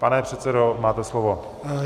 Pane předsedo, máte slovo.